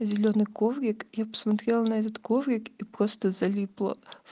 зелёный коврик я посмотрела на этот коврик и просто залипла